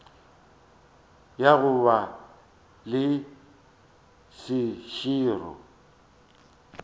ya go ba le seširo